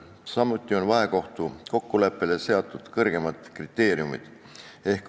Samuti on vahekohtukokkuleppele seatud kõrgemad kriteeriumid.